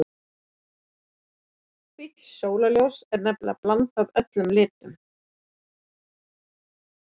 hvítt sólarljós er nefnilega blanda af öllum litum